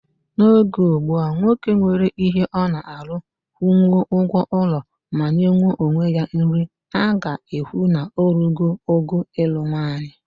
N'oge ugbua, nwoke nwere ihe ọ na-alụ, kwụnwuo ụgwọ ụlọ ma nyenwuo onwe ya nri, a ga-ekwu na o rugo oge ịlụ nwanyị.